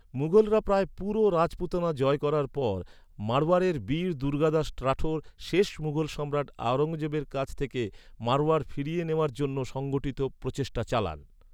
মুঘলরা প্রায় পুরো রাজপুতানা জয় করার পর, মারওয়ারের বীর দুর্গাদাস রাঠোর শেষ মুঘল সম্রাট আওরঙ্গজেবের কাছ থেকে মারওয়ার ফিরিয়ে নেওয়ার জন্য সংগঠিত প্রচেষ্টা চালান।